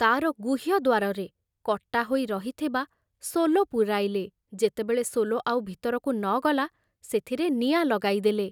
ତାର ଗୁହ୍ୟ ଦ୍ବାରରେ କଟା ହୋଇ ରହିଥିବା ସୋଲ ପୂରାଇଲେ, ଯେତେବେଳେ ସୋଲ ଆଉ ଭିତରକୁ ନ ଗଲା, ସେଥିରେ ନିଆଁ ଲଗାଇଦେଲେ।